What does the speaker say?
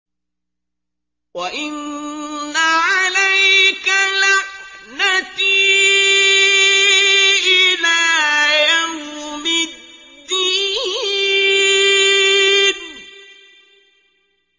وَإِنَّ عَلَيْكَ لَعْنَتِي إِلَىٰ يَوْمِ الدِّينِ